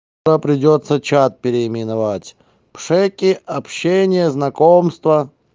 то придётся чат переименовать пшеки общение знакомства